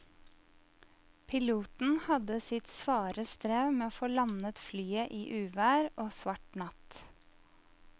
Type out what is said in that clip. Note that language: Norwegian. Piloten hadde sitt svare strev med å få landet flyet i uvær og svart natt.